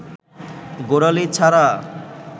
গোড়ালি ছাড়া